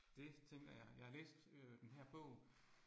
Det tænker jeg. Jeg har læst øh denne her bog